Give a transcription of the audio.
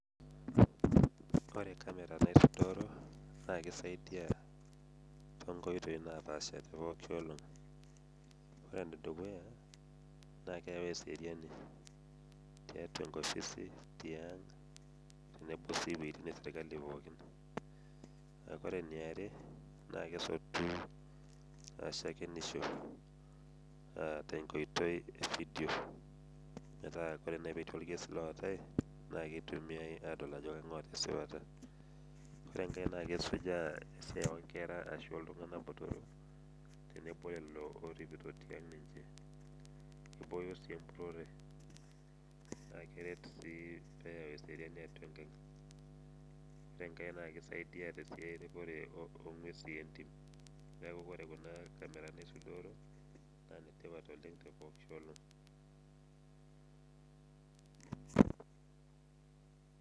Ore camera naisuduoro naa kisaaidia toonkoitoi naapaasha tolosho lang' ore enedukuya naa keyau eseriani toonkopisini, tiang' tenebo sii owuejitin esirkali pookin, ore eniare naa kesotu shakenisho aa tenkoitoi e videos metaa ore nai pee etii orkesi ootae naa kitumiai aadol ajo kang'ae oota esipata. Ore enkae naa kesujaa esiai oonkera ashu oltung'anak botorrok tenebo olelo orripito ninche. Naa ore enkaae naa kerrip ng'uesin entim neeku ore kuna kamerani isudoro naa inetipat oleng' tolosho lang'.